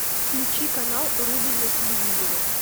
включи канал рубль на телевизоре